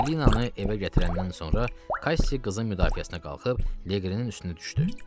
Emmelinanı evə gətirəndən sonra Kassi qızın müdafiəsinə qalxıb Leqrinin üstünə düşdü.